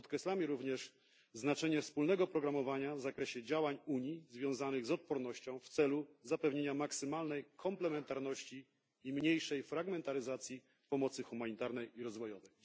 Podkreślamy również znaczenie wspólnego programowania działań Unii związanych z odpornością w celu zapewnienia maksymalnej komplementarności i mniejszej fragmentaryzacji pomocy humanitarnej i rozwojowej.